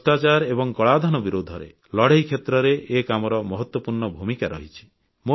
ଭ୍ରଷ୍ଟାଚାର ଏବଂ କଳାଧନ ବିରୁଦ୍ଧରେ ଲଢ଼େଇ କ୍ଷେତ୍ରରେ ଏ କାମର ମହତ୍ୱପୂର୍ଣ୍ଣ ଭୂମିକା ରହିଛି